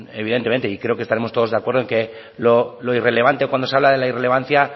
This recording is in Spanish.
evidentemente y creo que estaremos todos de acuerdo en que lo irrelevante cuando se habla de la irrelevancia